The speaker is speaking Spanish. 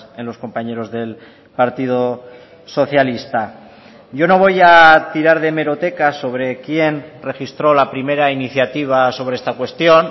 en los compañeros del partido socialista yo no voy a tirar de hemeroteca sobre quién registró la primera iniciativa sobre esta cuestión